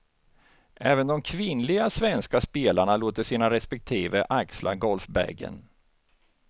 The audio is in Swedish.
Även de kvinnliga svenska spelarna låter sina respektive axla golfbagen.